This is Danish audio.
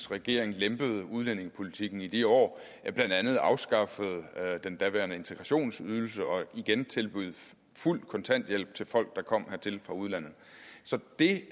regering lempede udlændingepolitikken i de år blandt andet afskaffede man den daværende integrationsydelse og igen tilbød fuld kontanthjælp til folk der kom hertil fra udlandet så det